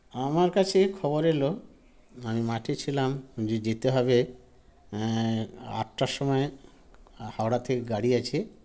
আমার কাছে খবর এলো আমি মাঠে ছিলাম যে যেতে হবে এ আটটার সময় হাওড়া থেকে গাড়ি আছে